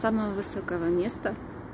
самого высокого места